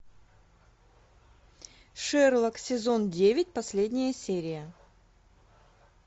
шерлок сезон девять последняя серия